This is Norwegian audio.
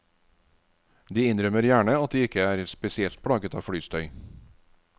De innrømmer gjerne at de ikke er spesielt plaget av flystøy.